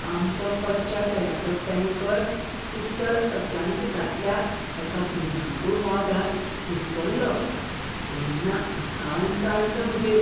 आमचो कच्च्या तेलाचो टॅंकर उत्तर अटलांटिकांतल्या एका भिरांकूळ वादळांत घुस्पल्लो तेन्ना आकांत आयिल्लो म्हजेर.